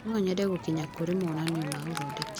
No nyende gũkinya kũrĩ monanio ma ũthondeki.